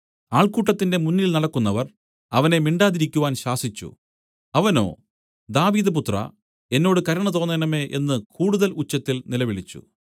ആൾക്കൂട്ടത്തിന്റെ മുന്നിൽ നടക്കുന്നവർ അവനെ മിണ്ടാതിരിക്കുവാൻ ശാസിച്ചു അവനോ ദാവീദുപുത്രാ എന്നോട് കരുണ തോന്നേണമേ എന്നു കൂടുതൽ ഉച്ചത്തിൽ നിലവിളിച്ചു